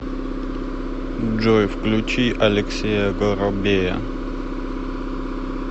джой включи алексея горобея